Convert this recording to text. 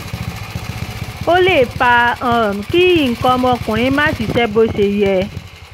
ó lè fa um kí nǹkan ọmọkùnrin má ṣiṣẹ́ bó ṣe yẹ